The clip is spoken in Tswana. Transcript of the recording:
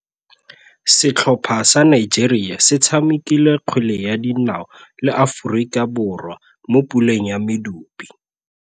Setlhopha sa Nigeria se tshamekile kgwele ya dinaô le Aforika Borwa mo puleng ya medupe.